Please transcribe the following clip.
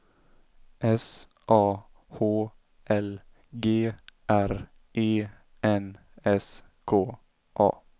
S A H L G R E N S K A